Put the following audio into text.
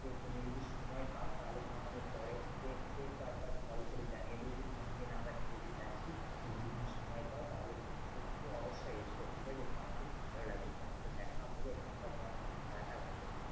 সে তুমি যদি সময় পাও তাহলে তোমাকে আমি পরে একবার কল করে জানিয়ে দেব যে কোনদিন আমরা খেলতে যাচ্ছি? তুমি যদি সময় পাও তাহলে কিন্তু অবশ্যই এস ঠিকাছে? তাহলে আমার খুব ভালো লাগবে। তোমার সাথে দেখাও হবে আর তোমার সাথে খেলাটাও হয়ে যাবে।